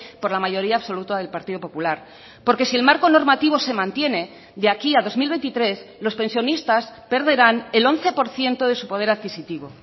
por la mayoría absoluta del partido popular porque si el marco normativo se mantiene de aquí a dos mil veintitrés los pensionistas perderán el once por ciento de su poder adquisitivo